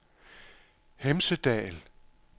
Hemsedal